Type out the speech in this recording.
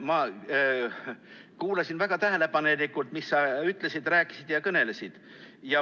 Ma kuulasin väga tähelepanelikult, mis sa ütlesid, rääkisid ja kõnelesid.